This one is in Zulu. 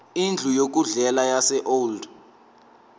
indlu yokudlela yaseold